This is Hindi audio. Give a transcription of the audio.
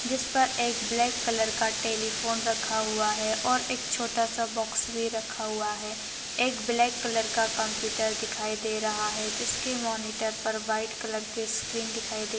जिस पर एक ब्लैक कलर का टेलिफोन रखा हुआ है और एक छोटा सा बोक्स भी रखा हुआ है एक ब्लैक कलर का कंप्यूटर दिखाई दे रहा है जिसके मॉनिटर पर व्हाइट कलर के स्क्रीन दिखाई दे--